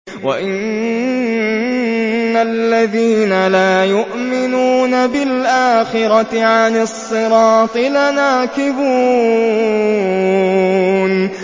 وَإِنَّ الَّذِينَ لَا يُؤْمِنُونَ بِالْآخِرَةِ عَنِ الصِّرَاطِ لَنَاكِبُونَ